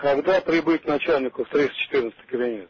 когда прибыть начальнику в триста четырнадцатый кабинет